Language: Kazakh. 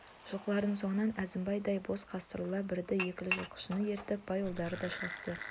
жылқылардың соңынан әзімбайдай боп қастарына бірді-екілі жылқышыны ертіп бай ұлдары да шығысты